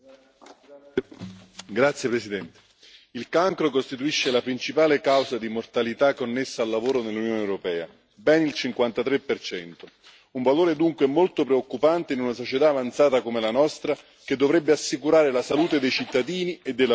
Signor Presidente, onorevoli colleghi, il cancro costituisce la principale causa di mortalità connessa al lavoro nell'Unione europea, ben il 53 un valore dunque molto preoccupante in una società avanzata come la nostra, che dovrebbe assicurare la salute dei cittadini e dei lavoratori.